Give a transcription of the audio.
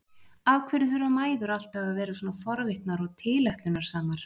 Af hverju þurfa mæður alltaf að vera svona forvitnar og tilætlunarsamar?